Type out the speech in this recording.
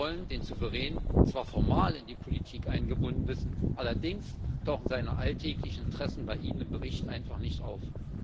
Sie wollen den Souverän zwar formal in die Politik eingebunden wissen, allerdings tauchen seine alltäglichen Interessen bei Ihnen im Bericht einfach nicht auf.